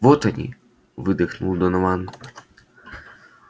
вот они выдохнул донован